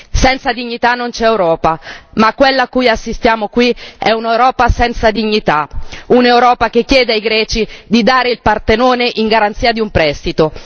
Senza dignità non c'è Europa, ma quella a cui assistiamo qui è un'Europa senza dignità, un'Europa che chiede ai greci di dare il Partenone in garanzia di un prestito.